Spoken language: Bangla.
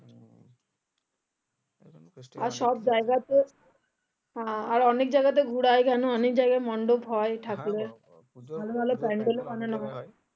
আর অনেক জায়গাতে ঘুরে কেন অনেক জায়গায় মণ্ডপ হয় ঠাকুরের